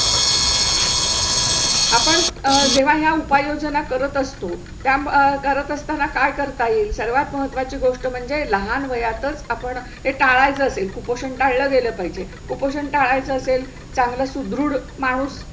आपण जेव्हा या उपायोजना करत असतो त्या म करत असताना काय करता येईल? सर्वात महत्वा ची गोष्ट म्हणजे लहान वयातच आपण ते टाळजातील कुपोषण टाळल गेला पाहिजे. कुपोषण टाळयच असेल चांगला सुदृढ माणूस